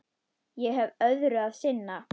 Ég hef öðru að sinna.